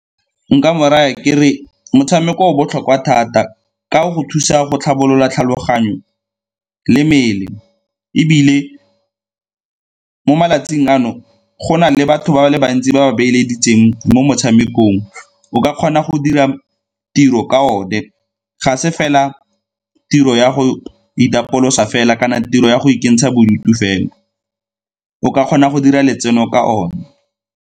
Nka mo raya ke re motshameko o botlhokwa thata ka go thusa go tlhabolola tlhaloganyo le mmele ebile mo malatsing ano go na le batho ba le bantsi ba ba beeleditseng mo motshamekong, o ka kgona go dira tiro ka one ga se fela tiro ya go itapolosa fela kana tiro ya go ikentsha bodutu fela, o ka kgona go dira letseno ka one.